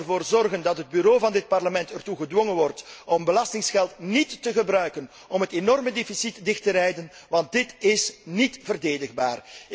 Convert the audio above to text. Deze zal ervoor zorgen dat het Bureau van dit Parlement ertoe gedwongen wordt om belastinggeld niet te gebruiken om het enorme tekort aan te vullen, want dit is niet verdedigbaar.